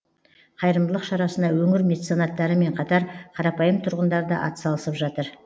қайырымдылық шарасына өңір меценаттарымен қатар қарапайым тұрғындар да атсалысып жатыр